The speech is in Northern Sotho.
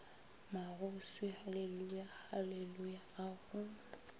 magoswi haleluya haleluya a go